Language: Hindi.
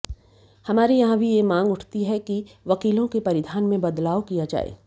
हमारे यहां भी यह मांग उठती है कि वकीलों के परिधान में बदलाव किया जाए